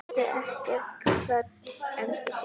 Vertu kært kvödd, elsku systir.